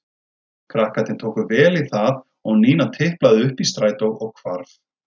Krakkarnir tóku vel í það og Nína tiplaði upp í strætó og hvarf.